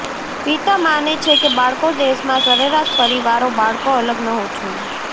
પિતા માને છે કે બાળકો દેશ માં સરેરાશ પરિવારો બાળકો અલગ ન જોઈએ